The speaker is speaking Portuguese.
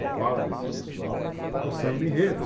A fala desse pessoal é o samba-enredo.